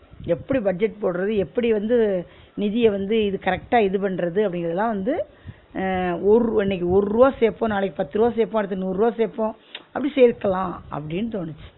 எப்டி budget போடுறது எப்டி வந்து நிதிய வந்து இது correct ஆ இது பண்றது அப்பிடிங்கிறதெல்லாம் வந்து அஹ் ஒர்ருவா இன்னிக்கு ஒர்ருவா சேப்போம் நாளைக்கு பத்து ருவா சேப்போம் அடுத்து நூறு ருவா சேப்போம் அப்டி சேர்க்கலாம் அப்டின்னு தோனுச்சு